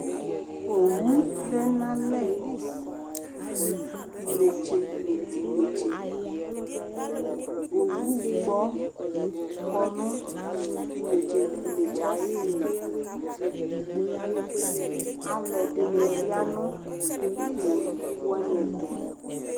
Owu tɛn'alɛ t'inetse nʋ t'inetseOwu gbɔ kɔ nʋ t'inetse nʋ t'inɛtsɛ ayili, alʋ ɛdini ya nʋ owu wani ɛfʋ